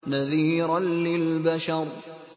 نَذِيرًا لِّلْبَشَرِ